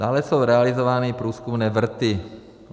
Dále jsou realizovány průzkumné vrty.